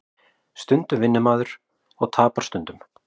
Stundum vinnur maður og tapar stundum